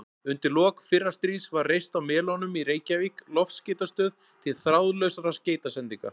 Undir lok fyrra stríðs var reist á Melunum í Reykjavík loftskeytastöð til þráðlausra skeytasendinga.